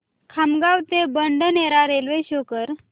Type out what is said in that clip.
खामगाव ते बडनेरा रेल्वे शो कर